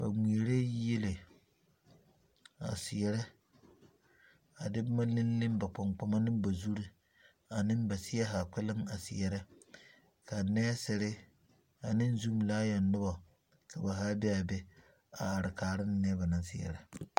Ba ŋmeɛrɛɛ yieli a seɛrɛ a de boma lele ba gbaŋgbama ne ba zuri a ne ba seɛ zaa kpɛlem a seɛrɛ ka nɛɛsere ane zumi laayoŋ noba ka zaa be a are kaara mine naŋ seɛrɛ.